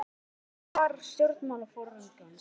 var stutt og laggott svar stjórnmálaforingjans.